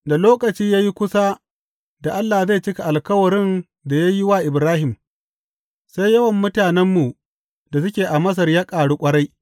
Da lokaci ya yi kusa da Allah zai cika alkawarin da ya yi wa Ibrahim, sai yawan mutanenmu da suke a Masar ya ƙaru ƙwarai.